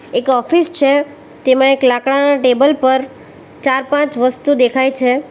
એક ઓફિસ છે તેમાં એક લાકડાના ટેબલ પર ચાર પાંચ વસ્તુ દેખાય છે.